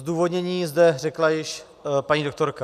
Zdůvodnění zde řekla již paní doktorka.